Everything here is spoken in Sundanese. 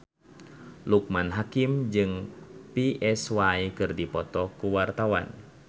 Loekman Hakim jeung Psy keur dipoto ku wartawan